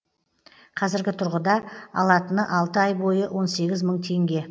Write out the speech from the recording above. қазіргі тұрғыда алатыны алты ай бойы он сегіз мың теңге